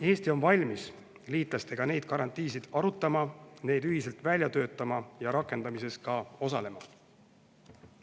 Eesti on valmis liitlastega neid garantiisid arutama, neid ühiselt välja töötama ja rakendamises ka osalema.